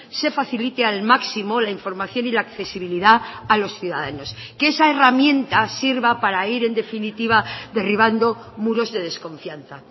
se facilite al máximo la información y la accesibilidad a los ciudadanos que esa herramienta sirva para ir en definitiva derribando muros de desconfianza